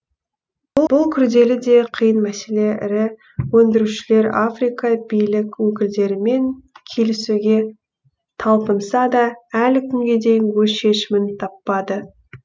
бұл күрделі де қиын мәселе ірі өндірушілер африка билік өкілдерімен келісуге талпынса да әлі күнге дейін өз шешімін таппады